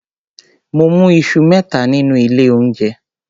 Mo mú iṣu mẹ́ta nínú ilé oúnjẹ.